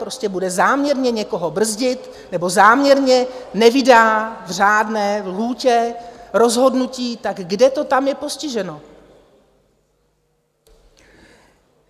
Prostě bude záměrně někoho brzdit nebo záměrně nevydá v řádné lhůtě rozhodnutí, tak kde to tam je postiženo?